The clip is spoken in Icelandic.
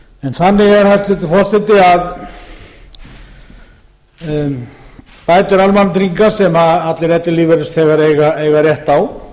þannig er hæstvirtur forseti að bætur almannatrygginga sem allir ellilífeyrisþegar eiga rétt á